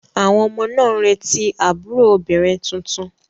Àwọn ọmọ náà ń retí àbúrò obìnrin tuntun.